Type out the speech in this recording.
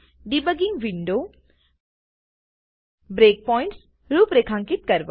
debugging window breakpoints રૂપરેખાંકિત કરવા